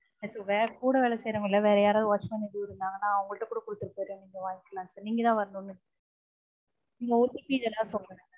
இல்ல sir வேற கூட வேல செய்யறவங்க இல்ல வேற யாராவது watchman இருந்தாங்கன்னா அவங்க கிட்ட கூட குடுத்துட்டு போயிடுறோம் sir நீங்க வாங்கிக்கலாம் sir நீங்கதான் வரணும்னு இல்லை.